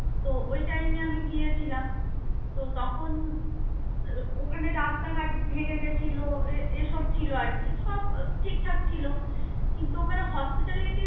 তো ওই time এ আমি গিয়েছিলাম. তো তখন ওখানে রাস্তাঘাট ভেঙ্গে গেছিল, এসব ছিল আর কি. সব ঠিকঠাক ছিল. কিন্তু ওখানে hospitality